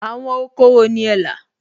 Àwọn oko wo ni ẹ là?